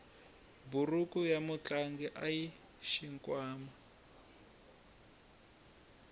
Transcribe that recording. buruku ya mutlangi ayina xikhwama